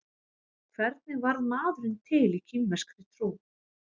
Hvernig varð maðurinn til í kínverskri trú?